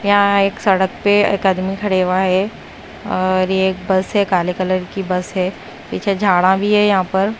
यहां एक सड़क पे एक आदमी खड़े हुआ है और ये एक बस है काले कलर की बस है पीछे झाड़ा भी है यहां पर।